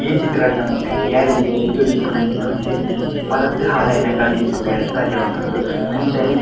ಈ ಚಿತ್ರಡ್ ನಮಕ್ ಗ್ಯಾರೇಜ್ ದ ಎದುರು ಇಪ್ಪುನಂಚಿನ ಒಂಜಿ ಪರತ್ತ್ ಹಾಳಾಯಿನ ಗಾಡಿನ್ ತೂವರೆ ಸಾದ್ಯ ಆವೊಂದುಂಡು ಅಂಚನೆ.